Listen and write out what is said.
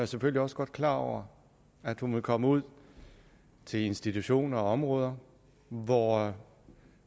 selvfølgelig også godt klar over at hun ville komme ud til institutioner og områder hvor